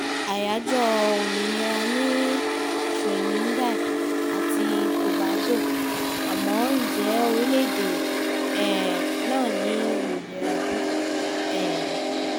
àyájọ́ ọjọ́ òmìnira ní trinidad àti tobago àmọ́ ǹjẹ́ orílẹ̀-èdè um náà ní òmìnira bí um